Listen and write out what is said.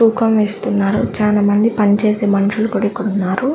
తూకం వేస్తున్నారు. చాలా మంది పని చేసే మనుషులు కూడా ఇక్కడ ఉన్నారు.